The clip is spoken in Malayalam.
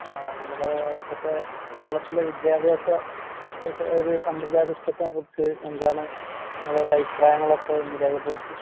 ആഹ് നമ്മള് ഇപ്പത്തെ കേരളത്തിലെ വിദ്യാഭ്യാസ ഒസ് ഒര് സമ്പ്രദായ സിസ്റ്റത്തിനെക്കുറിച്ച് എന്താണ് നിങ്ങളൊര് അഭിപ്രായങ്ങളൊക്കെയൊന്ന് രേഖപ്പെടുത്ത്.